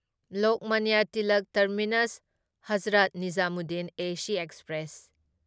Lokmanya Tilak terminus Hazrat Nizamuddin AC express